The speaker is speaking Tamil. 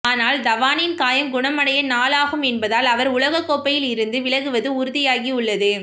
ஆனால் தவானின் காயம் குணமடைய நாள் ஆகும் என்பதால் அவர் உலகக்கோப்பையில் இருந்து விலகுவது உறுதியாகியுள்ளது